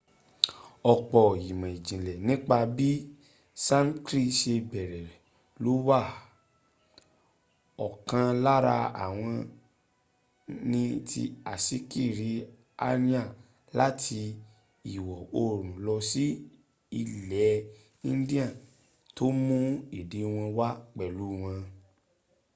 ọ̀pọ̀ ìmọ̀ ìjìnlẹ̀ nípa bí sankrit se bẹ̀rẹ̀ ló wà ọkàn lára wọn ni ti asíkiri aryan láti ìwọ̀ oòrùn lọ sí ilẹ̀ india tó mún èdè wọn wá pẹ̀lu wọn